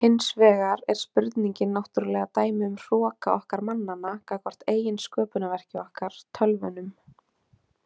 Hins vegar er spurningin náttúrlega dæmi um hroka okkar mannanna gagnvart eigin sköpunarverki okkar, tölvunum.